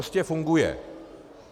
Prostě funguje.